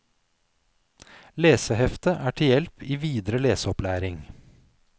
Leseheftet er til hjelp i videre leseopplæring.